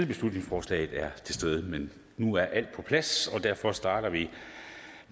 beslutningsforslaget er til stede men nu er alt på plads og derfor starter vi